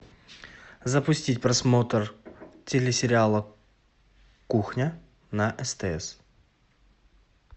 запустить просмотр телесериала кухня на стс